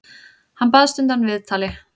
Hann baðst undan viðtali.